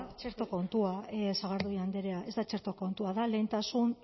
txerto kontua sagardui andrea ez da txerto kontua da lehentasun